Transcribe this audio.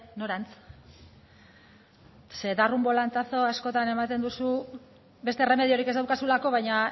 norantz zeren dar un volantazo askotan ematen duzu beste erremediorik ez daukazulako baina